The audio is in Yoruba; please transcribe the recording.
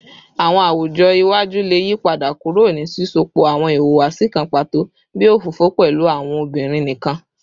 Awọn awujọ iwaju le yipada kuro ni sisọpọ awọn ihuwasi kan pato bii ofofo pẹlu awọn obinrin nikan